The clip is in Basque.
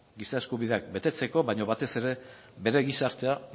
giza eskubideak betetzeko baina batez ere bere gizartea